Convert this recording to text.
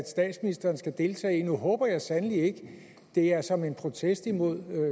statsministeren skal deltage i nu håber jeg sandelig ikke det er som en protest imod